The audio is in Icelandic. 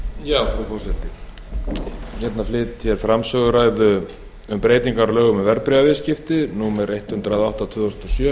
ég mæli fyrir frumvarpi um breyting á lögum um verðbréfaviðskipti númer hundrað og átta tvö þúsund og sjö fimmtugasta og þriðja